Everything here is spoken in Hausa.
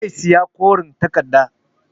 Zai saya koren takarda